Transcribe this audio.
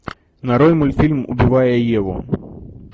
нарой мультфильм убивая еву